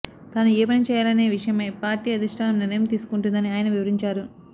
తాను ఏ పని చేయాలనే విషయమై పార్టీ అధిష్టానం నిర్ణయం తీసుకొంటుందని ఆయన వివరించారు